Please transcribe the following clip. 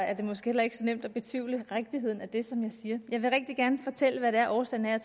er det måske heller ikke så nemt at betvivle rigtigheden af det som jeg siger jeg vil rigtig gerne fortælle hvad det er årsagen er og